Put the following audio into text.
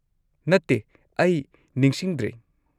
-ꯅꯠꯇꯦ, ꯑꯩ ꯅꯤꯡꯁꯤꯡꯗ꯭ꯔꯦ꯫